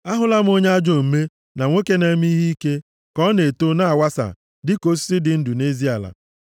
Ahụla m onye ajọ omume na nwoke na-eme ihe ike, ka ọ na-eto, na-awasa, dịka osisi dị ndụ nʼezi ala,